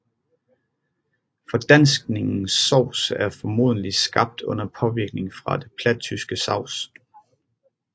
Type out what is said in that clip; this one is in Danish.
Fordanskningen sovs er formodentlig skabt under påvirkning fra det plattyske saus